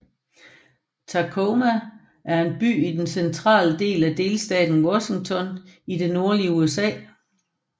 Tacoma er en by i den centrale del af delstaten Washington i det nordvestlige USA